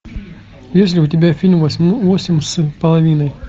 есть ли у тебя фильм восемь с половиной